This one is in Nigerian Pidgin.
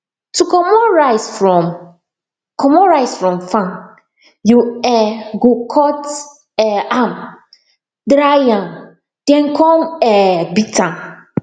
to comot rice from comot rice from farm you um go cut um am dry am then come um beat am